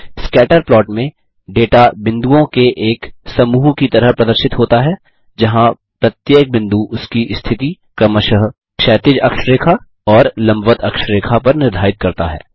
scatter plot में data बिन्दुओं के एक समूह की तरह प्रदर्शित होता है जहाँ प्रत्येक बिंदु उसकी स्थिति क्रमशः क्षैतिज अक्ष रेखा और लम्बवत अक्ष रेखा पर निर्धारित करता है